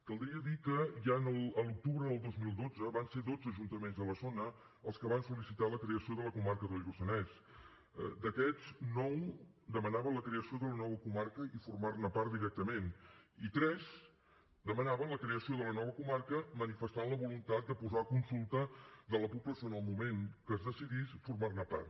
caldria dir que ja a l’octubre del dos mil dotze van ser dotze ajuntaments de la zona els que van sol·licitar la creació de la comarca del lluçanès d’aquests nou demanaven la creació de la nova comarca i formar ne part directament i tres demanaven la creació de la nova comarca manifestant la voluntat de posar a consulta de la població en el moment que es decidís formar ne part